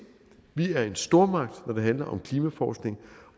vi er en stormagt når det handler om klimaforskning